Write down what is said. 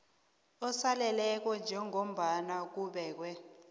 osaleleko njengombana kubekwe